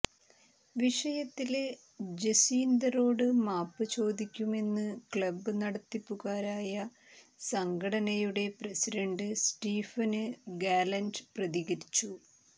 വിഷയത്തില് ജസ്വീന്ദറിനോട് മാപ്പ് ചോദിക്കുമെന്ന് ക്ലബ് നടത്തിപ്പുകാരായ സംഘടനയുടെ പ്രസിഡന്റ് സ്റ്റീഫന് ഗാലന്റ് പ്രതികരിച്ചു